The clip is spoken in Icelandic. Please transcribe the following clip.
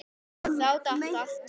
Þá datt allt niður.